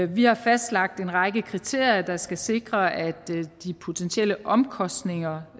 vi har fastlagt en række kriterier der skal sikre at de potentielle omkostninger